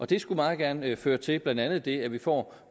det skulle meget gerne føre til blandt andet det at vi får